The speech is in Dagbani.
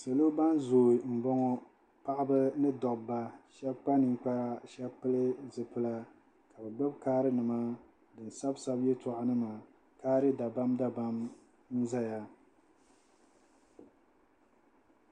Salo ban zooi m-bɔŋɔ paɣiba ni dobba shɛba kpa ninkpara shɛba pili zipila n-gbubi kaarinima ka di sabisabi yɛltɔɣanima kaari dabamdabam n-zaya